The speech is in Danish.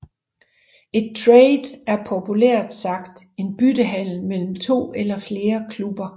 Et trade er populært sagt en byttehandel mellem to eller flere klubber